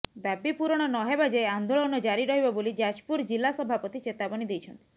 ଦାବି ପୂରଣ ନହେବା ଯାଏ ଆନ୍ଦୋଳନ ଜାରି ରହିବ ବୋଲି ଯାଜପୁର ଜିଲ୍ଲା ସଭାପତି ଚେତାବନୀ ଦେଇଛନ୍ତି